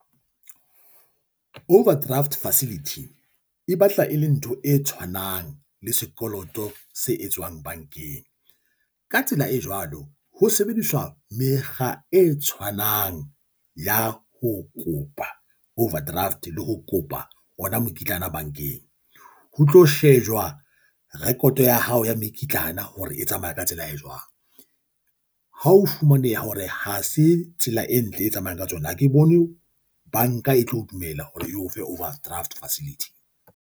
Overdraft facility e batla e le ntho e tshwanang le sekoloto se etswang bankeng. Ka tsela e jwalo, ho sebediswa mekga e tshwanang ya ho kopa overdraft le ho kopa ona mokitlana bankeng. Ho tlo shejwa record ya hao ya mekitlana hore e tsamaya ka tsela e jwang. Ha o fumaneha hore ha se tsela e ntle, e tsamayang ka tsona, ha ke bone banka e tlo dumela hore e o fe overdraft facility.